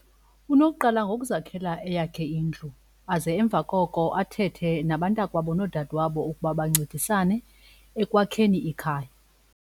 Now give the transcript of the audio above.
Unokuqala ngokuzakhela eyakhe indlu aze emva koko athethe nabantakwabo noodadwabo ukuba bancedisane ekwakheni ikhaya.